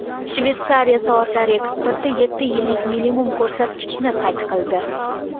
Shveysariya soatlari eksporti yetti yillik minimum ko‘rsatkichni qayd qildi.